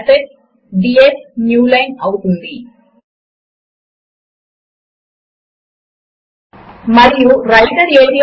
రెండవది క్రింద ఉన్న ఫార్ములా ఎడిటర్ ఏరియా